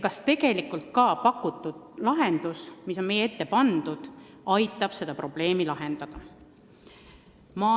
Kas pakutud lahendus, mis on meie ette pandud, aitab seda probleemi ka tegelikult lahendada?